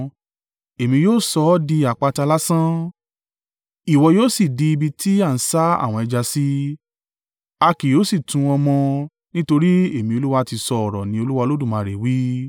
Èmi yóò sọ ọ di àpáta lásán, ìwọ yóò sì di ibi tí a ń sá àwọ̀n ẹja sí. A kì yóò sì tún ọ mọ nítorí Èmi Olúwa ti sọ ọ̀rọ̀ ní Olúwa Olódùmarè wí.